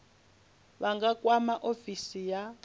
vha nga kwama ofisi ya